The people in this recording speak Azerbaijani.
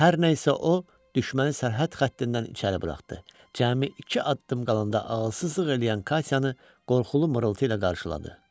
Hər nəsə o, düşməni sərhəd xəttindən içəri buraxdı, cəmi iki addım qalanda ağılsızlıq eləyən Katyanı qorxulu mırıltı ilə qarşıladı.